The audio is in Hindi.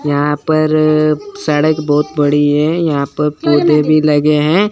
यहां पर सड़क बहोत बड़ी है यहां प पौधे भी लगे हैं।